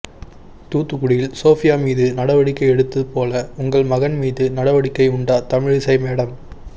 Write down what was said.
தூத்துக்குடியில் சோபியா மீது நடவடிக்கை எடுத்து போல உங்க மகன் மீது நடவடிக்கை உண்டா தமிழிசை மேடம்